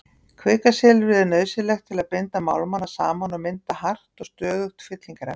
Kvikasilfrið er nauðsynlegt til að binda málmana saman og mynda hart og stöðugt fyllingarefni.